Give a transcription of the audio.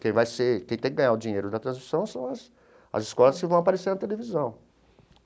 Quem vai ser quem tem que ganhar o dinheiro da transmissão são as as escolas que vão aparecer na televisão.